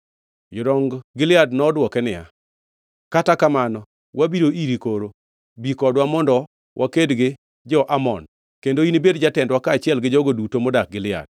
Jodong Gilead nodwoke niya, “Kata kamano, wabiro iri koro; bi kodwa mondo waked gi jo-Amon, kendo inibed jatendwa kaachiel gi jogo duto modak Gilead.”